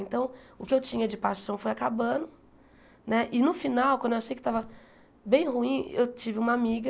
Então, o que eu tinha de paixão foi acabando né e no final, quando eu achei que estava bem ruim, eu tive uma amiga